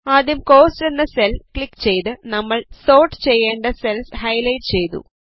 ആദ്യം കോസ്റ്റ് എന്ന cell click ചെയ്ത് നമ്മൾ സോർട്ട് ചെയ്യേണ്ട സെൽസ് ഹൈലൈറ്റ് ചെയ്തു